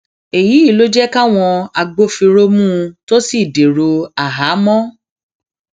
èyí ló jẹ káwọn agbófinró mú un tó sì dèrò àhámọ